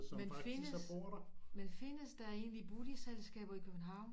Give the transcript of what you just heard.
Men findes men findes der egentlig boligselskaber i København